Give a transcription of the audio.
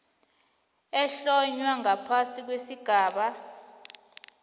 ehlonywe ngaphasi kwesigaba